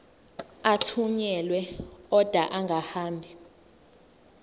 athunyelwa odwa angahambi